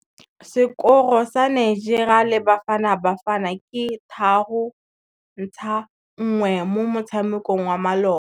Sekôrô sa Nigeria le Bafanabafana ke 3-1 mo motshamekong wa malôba.